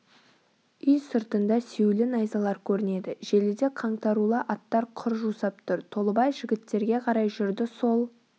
үй сыртында сүйеулі найзалар көрінеді желіде қаңтарулы аттар құр жусап тұр толыбай жігіттерге қарай жүрді сол